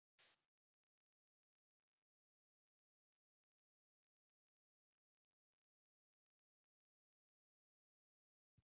Eru þeir ekki orðnir líklegir í deildar titilbaráttu??